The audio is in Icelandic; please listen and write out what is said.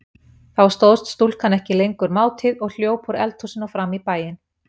Þá stóðst stúlkan ekki lengur mátið og hljóp úr eldhúsi og fram í bæinn.